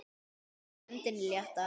Og varpar öndinni léttar.